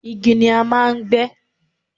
igi ni a máà ń gbé